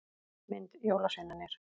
Mynd: Jólasveinarnir.